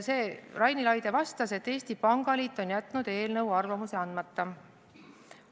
Raini Laide vastas, et Eesti Pangaliit on jätnud eelnõu kohta arvamuse andmata.